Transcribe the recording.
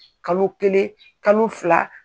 Kalo kelen kalo fila.